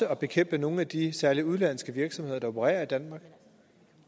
at bekæmpe nogle af de særlig udenlandske virksomheder der opererer i danmark